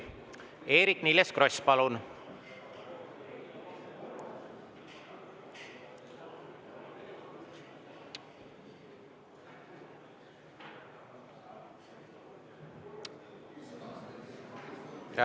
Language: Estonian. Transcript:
Eerik-Niiles Kross, palun!